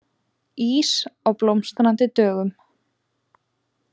Ís á Blómstrandi dögum